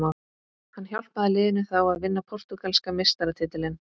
Hann hjálpaði liðinu þá að vinna portúgalska meistaratitilinn.